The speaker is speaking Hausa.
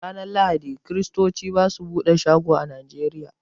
Ranar Lahadi, kiristoci ba su buɗe shago a Nigeria.